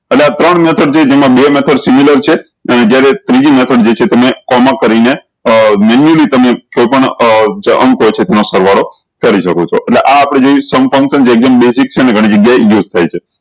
અને આ ત્રણ method જે જેમા બે method છે અને જયારે ત્રીજી method જે છે તમે કોમા કરીને manually તમે કોઈ પણ નો સરવાળો કરી શકો છો એટલે આ આપળે કેવી એકદમ basic છે અને ઘણી જગ્યાએ use થાય છે